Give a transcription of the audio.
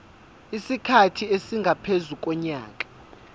isikhathi esingaphezu konyaka